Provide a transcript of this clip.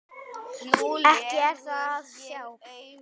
Ekki er það að sjá.